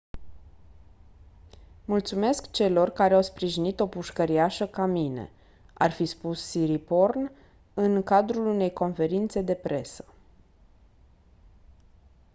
mulțumesc celor care au sprijinit o pușcăriașă ca mine ar fi spus siriporn în cadrul unei conferințe de presă